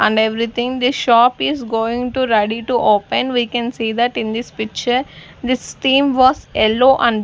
and everything this shop is going to ready to open we can see that in this picture this theme was yellow and --